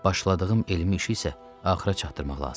Başladığım elmi işi isə axıra çatdırmaq lazımdır.